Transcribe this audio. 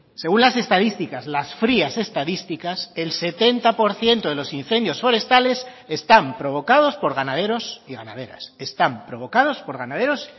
según las estadísticas las frías estadísticas el setenta por ciento de los incendios forestales están provocados por ganaderos y ganaderas están provocados por ganaderos